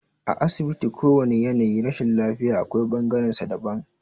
A asibiti kowane yanayin rashin lafiya akwai bangaren sa daban